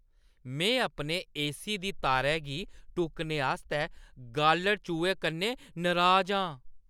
में अपने एसी दी तारै गी टुक्कने आस्तै गालढ़-चूहे कन्नै नराज आं।